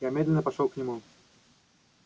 я медленно пошёл к нему